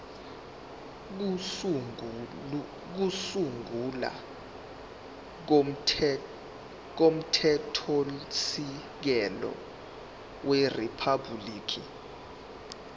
kokusungula komthethosisekelo weriphabhuliki